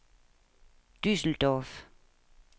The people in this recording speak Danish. Düsseldorf